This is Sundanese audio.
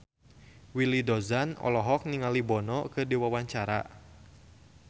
Willy Dozan olohok ningali Bono keur diwawancara